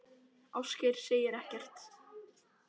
Ásgeir segir ekkert.